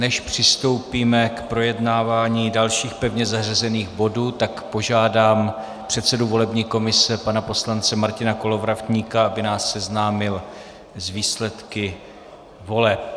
Než přistoupíme k projednávání dalších pevně zařazených bodů, tak požádám předsedu volební komise pana poslance Martina Kolovratníka, aby nás seznámil s výsledky voleb.